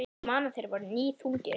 Ég man að þeir voru níðþungir.